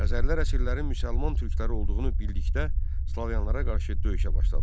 Xəzərlər əsirlərin müsəlman türkləri olduğunu bildikdə, slavyanlara qarşı döyüşə başladılar.